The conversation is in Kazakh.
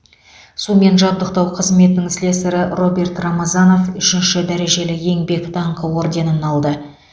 сумен жабдықтау қызметінің слесарі роберт рамазанов үшінші дәрежелі еңбек даңқы орденін алды